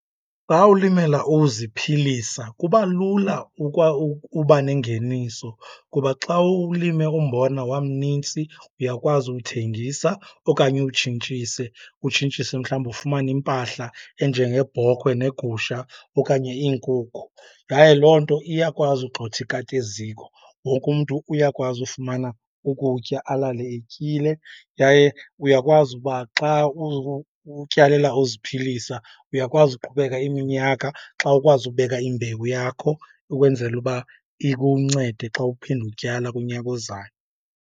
Xa ulimela uziphilisa kuba lula uba nengeniso kuba xa ulime umbona wamnintsi, uyakwazi uwuthengisa okanye uwutshintshise. Utshintshise mhlawumbi ufumane impahla enjengebhokhwe negusha okanye iinkukhu. Yaye loo nto iyakwazi ugxotha ikati eziko, wonke umntu uyakwazi ufumana ukutya alale etyile. Yaye uyakwazi uba xa utyalela uziphilisa, uyakwazi uqhubeka iminyaka xa ukwazi ukubeka imbewu yakho ukwenzela uba ikuncede xa uphinda utyala kunyaka ozayo.